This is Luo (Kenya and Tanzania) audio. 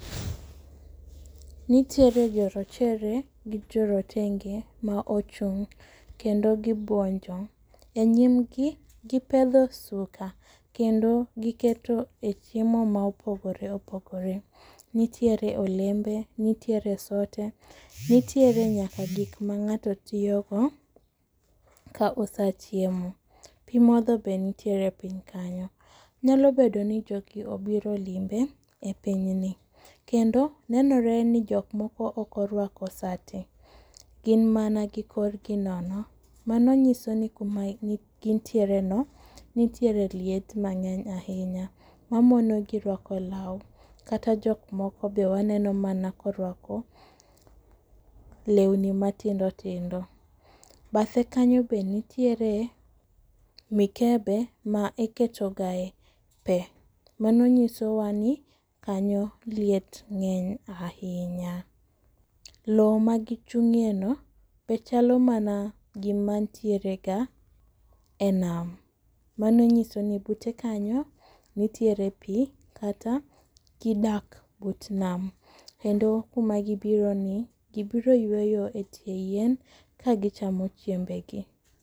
Nitiere jorochere gi jorotenge ma ochung' kendo gibuonjo . E nyim gi gipedho suka kendo giketo e chiemo mopogore opogore. Nitiere olembe, nitiere sote nitiere nyaka gik ma ng'ato tiyo go ka osechiemo . Pii modho be nitiere piny kanyo. Nyalo bedo ni jogi obiro limbe e pinyni kendo nenore ni jogi ma ok orwako sati gin mana gi korgi nono mano nyiso ni kuma gintiere no nitiere liet mang'eny ahinya mamono gi rwako law kata jok moko be waneno mana korwako lewni matindotindo. Bathe kanyo be nitire mikebe ma ikete ga e pee, mano nyiso wa ni kanyo liet ng'eny ahinya. Loo ma gichung'ie no be chalo mana gi mantiere ga e nam. Mano nyiso ni bute kanyo nitiere pii kata gidak but nama kendo kuma gibiro e ni gibiro yweyo e tie yien ka gichamo chiembe gi.